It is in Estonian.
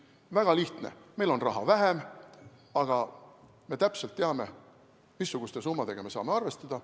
Väga lihtne: meil on raha vähem, aga me teame täpselt, missuguste summadega me saame arvestada.